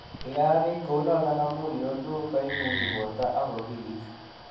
Kigarananiit kounoton amuun yoluu kimungi borto ak okiliit.